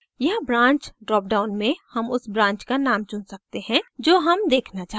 यहाँ branch drop down में हम उस branch का name चुन सकते हैं जो हम देखना चाहते हैं